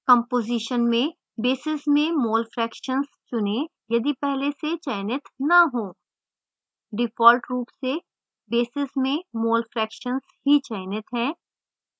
composition में basis में mole fractions चुनें यदि पहले से चयनित न हो